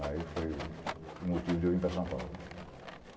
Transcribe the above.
Aí foi o motivo de eu vir para São Paulo.